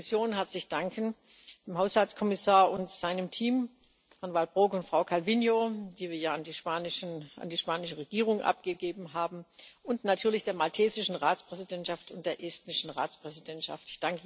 Ich möchte der Kommission herzlich danken, dem Haushaltskommissar und seinem Team, Herrn Waelbroeck und Frau Calviño, die wir ja an die spanische Regierung abgegeben haben, und natürlich der maltesischen Ratspräsidentschaft und der estnischen Ratspräsidentschaft.